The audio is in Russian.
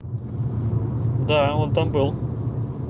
да он там был